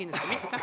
Kindlasti mitte.